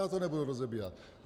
Já to nebudu rozebírat.